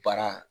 Baara